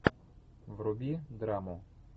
вруби драму